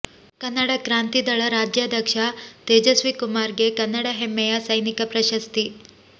ಕನ್ನಡ ಕ್ರಾಂತಿದಳ ರಾಜ್ಯಾಧ್ಯಕ್ಷ ತೇಜಸ್ವಿಕುಮಾರ್ ಗೆ ಕನ್ನಡ ಹೆಮ್ಮೆಯ ಸೈನಿಕ ಪ್ರಶಸ್ತಿ